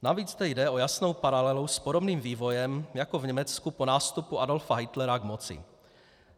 Navíc tady jde o jasnou paralelu s podobným vývojem jako v Německu po nástupu Adolfa Hitlera k moci.